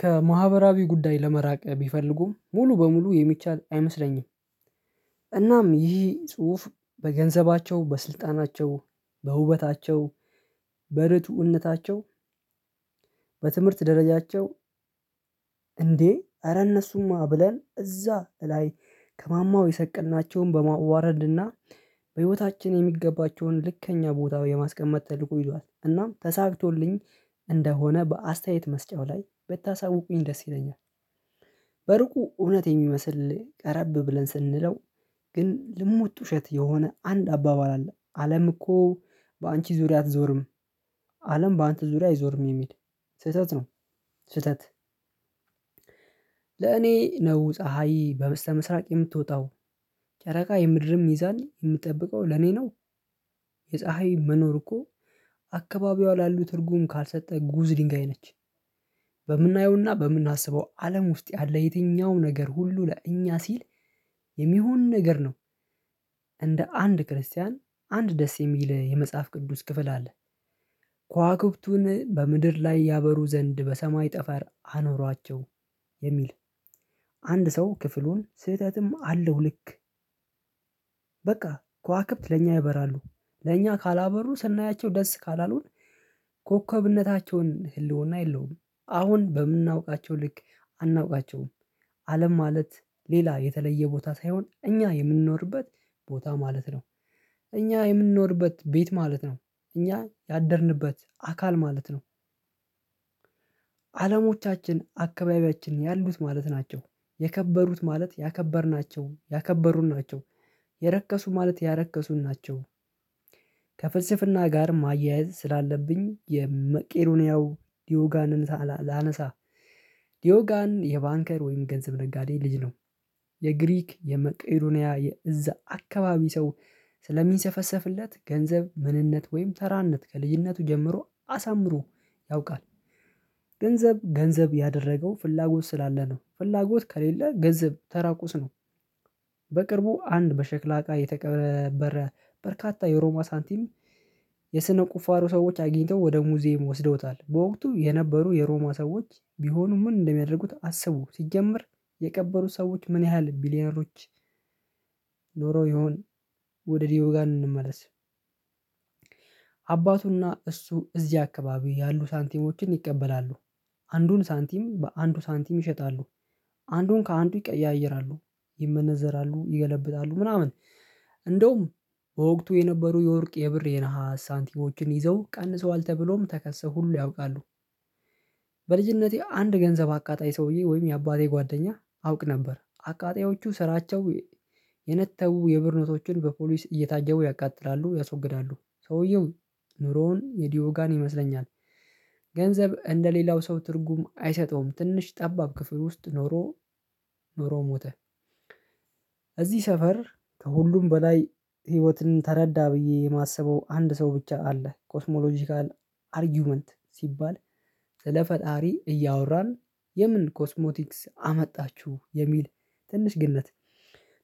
ከማህበራዊ ጉዳይ ለመራቅ ቢፈልጉም ሙሉ በሙሉ የሚቻል አይመስለኝም። እናም ይህ ጽሁፍ በገንዘባቸው በስልጣናቸው በውበታቸው በረቱእነታቸው በትምህርት ደረጃቸው እንዴ ኧረ እነሱማ ብለን እዛ ላይ ከማማው የሰቀልናቸውን በማዋረድና በህይወታችን የሚገባቸውን ልክኛ ቦታው የማስቀመጥ ተልኮ ይዟል እናም ተሳክቶልኝ እንደሆነ በአስተያየት መስጫው ላይ በተሳወቁኝ ደስ ይለኛል። በሩቁ እውነት የሚመስል ቀረብ ብለን ስንለው ግን ልሙጥ ውሸት የሆነ አንድ አባባል አለ አለም እኮ በአንቺ ዙሪያ አትዞርም አለም በአንተ ዙሪያ አይዞርም የሚል ስህተት ነው ስህተት ለኔ ነው ፀሀይ በመስተምስራቅ የምትወጣው ጨረቃ የምድርም ይይዛል የምትጠብቀው ለኔ ነው። የፀሀይ መኖር እኮ አካባቢዋ ላሉ ትርጉም ካልሰጠ ጉዝ ድንጋይ ነች። በምናየውና በምናስበው አለም ውስጥ ያለ የትኛውም ነገር ሁሉ ለእኛ ሲል የሚሆን ነገር ነው። እንደ አንድ ክርስቲያን አንድ ደስ የሚል የመጽሐፍ ቅዱስ ክፍል አለ። ኳኩብቱን በምድር ላይ ያበሩ ዘንድ በሰማይ ጠፈር አኖሯቸው የሚል አንድ ሰው ክፍሉን ስህተትም አለው ልክ በቃ ከዋክብት ለእኛ ያበራሉ ለእኛ ካላበሩ ስናያቸው ደስ ካላልሆን ኮከብነታቸውን ህልውና የለውም አሁን በምናውቃቸው ልክ አናውቃቸውም አለም ማለት ሌላ የተለየ ቦታ ሳይሆን እኛ የምንኖርበት ቦታ ማለት ነው። እኛ የምንኖርበት ቤት ማለት ነው እኛ ያደርንበት አካል ማለት ነው። አለሞቻችን አካባቢያችን ያሉት ማለት ናቸው የከበሩት ማለት ያከበርናቸውን ያከበሩን ናቸው የረከሱ ማለት ያረከሱን ናቸው። ከፍልስፍና ጋር ማያያዝ ስላለብኝ የመቄዶኒያው ዲዮጋንን ላነሳ ዲዮጋን የባንከር ወይም ገንዘብ ነጋዴ ልጅ ነው። የግሪክ የመቀዶንያ ያ የእዛ አካባቢ ሰው ስለሚንሰፈሰፍለት ገንዘብ ምንነት ወይም ተራነት ከልዩነቱ ጀምሮ አሳምሮ ያውቃል። ገንዘብ ገንዘብ ያደረገው ፍላጎት ስላለ ነው ፍላጎት ከሌለ ገንዘብ ተራቁስ ነው። በቅርቡ አንድ በሸክላ እቃ የተቀበረ በርካታ የሮማ ሳንቲም የስነ ቁፋሮ ሰዎች አግኝተው ወደ ሙዚየም ወስደውታል በወቅቱ የነበሩ የሮማ ሰዎች ቢሆኑ ምን እንደሚያደርጉት አስቡ ሲጀመር የቀበሩ ሰዎች ምን ያህል ቢሊየነሮች ኖሮ ይሁን ወደ ዲዮጋን እንመለስ አባቱና እሱ እዚህ አካባቢው ያሉ ሳንቲሞችን ይቀበላሉ። አንዱን ሳንቲም በአንዱ ሳንቲም ይሸጣሉ። አንዱን ከአንዱ ይቀያይራሉ ይመነዘራሉ ይገለብጣሉ ምናምን እንደውም በወቅቱ የነበሩ የወርቅ የብር የነሃስ ሳንቲሞችን ይዘው ቀንሰዋል ተብሎም ተከሶ ሁሉ ያውቃሉ። በልጅነቴ አንድ ገንዘብ አቃጣይ ሰውዬ ወይም የአባቴ ጓደኛ አውቅ ነበር አቃጣዮቹ ስራቸው የነተቡ የብር ኖቶችን በፖሊስ እየታጀቡ ያቃጥላሉ ያስወግዳሉ ሰውየው ኑሮውን የዲዮጋን ይመስለኛል። ገንዘብ እንደሌላው ሰው ትርጉም አይሰጠውም ትንሽ ጠባብ ክፍል ውስጥ ኖሮ ኖሮ ሞተ እዚህ ሰፈር ከሁሉም በላይ ህይወትን ተረዳ ብዬ የማስበው አንድ ሰው ብቻ አለ ኮስሞሎጂካል አርጊዩመንት ሲባል ስለ ፈጣሪ እያወራን የምን ኮስሞቲክስ አመጣችሁ የሚል ትንሽ ግንነት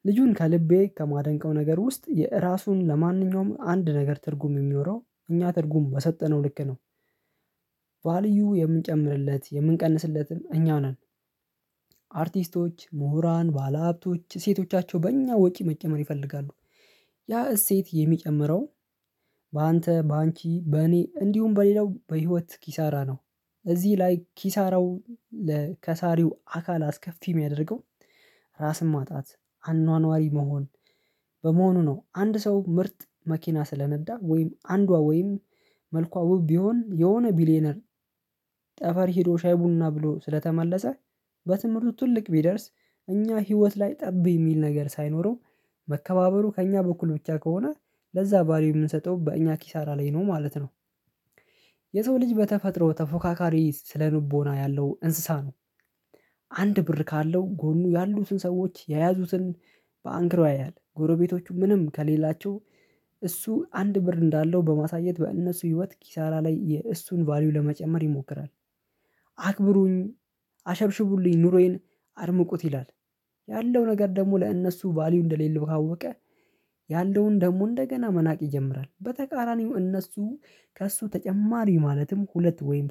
ልጁን ከልቤ ከማደንቀው ነገር ውስጥ የራሱን ለማንኛውም አንድ ነገር ትርጉም የሚኖረው እኛ ትርጉም በሰጠነው ልክ ነው። ባልዩ የምንጨምርለት የምንቀንስለትን እኛ ነን አርቲስቶች ምሁራን ባለሀብቶች ሴቶቻቸው በእኛ ወጪ መጨመር ይፈልጋሉ። ያ እሴት የሚጨምረው በአንተ በአንቺ በእኔ እንዲሁም በሌላው በህይወት ኪሳራ ነው እዚህ ላይ ኪሳራው ለከሳሪው አካል አስከፊ የሚያደርገው ራስን ማጣት አኗኗሪ መሆን በመሆኑ ነው አንድ ሰው ምርጥ መኪና ስለነዳ ወይም አንዷ ወይም መልኳ ውብ ቢሆን የሆነ ቢሊየነር ጠፈር ሄዶ ሻይ ቡና ብሎ ስለተመለሰ በትምህርቱ ትልቅ ቢደርስ እኛ ህይወት ላይ ጠብ የሚል ነገር ሳይኖረው መከባበሩ ከእኛ በኩል ብቻ ከሆነ ለዛ ቫልዩ የምንሰጠው በእኛ ኪሳራ ላይ ነው ማለት ነው። የሰው ልጅ በተፈጥሮ ተፎካካሪ ስለ ልቦና ያለው እንስሳ ነው አንድ ብር ካለው ጎኑ ያሉትን ሰዎች የያዙትን ባንከሩ ያያል ጎረቤቶቹ ምንም ከሌላቸው እሱ አንድ ብር እንዳለው በማሳየት በእነሱ ህይወት ኪሳራ ላይ የእሱን ቫልዩ ለመጨመር ይሞክራል። አክብሩኝ አሸብሽቡልኝ ኑሮዬን አድምቁት ይላል። ያለው ነገር ደግሞ ለእነሱ ቫልዩ እንደሌለው ካወቀ ያለውን ደግሞ እንደገና መናቅ ይጀምራል በተቃራኒው እነሱ ከእሱ ተጨማሪ ማለትም ሁለት ወይም